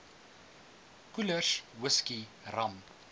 koelers whisky rum